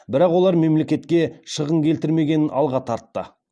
бірақ олар мемлекетке шығын келтірмегенін алға тартты